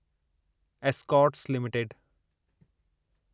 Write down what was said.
Escorts limited